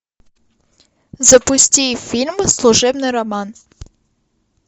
запусти фильм служебный роман